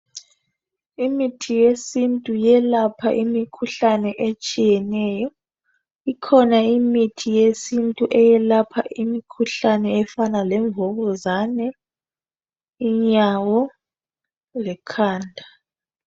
Imithi yesintu yelapha imikhuhlane etshiyeneyo. Ikhona imithi yesintu eyelapha imikhuhlane efana lemvukuzane, inyawo lekhanda.